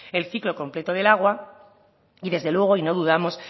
el ciclo completo del agua y desde luego y no dudamos